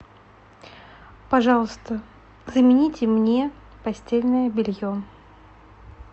пожалуйста замените мне постельное белье